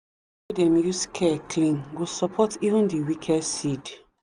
wey them use care clean go support even the weakest seed.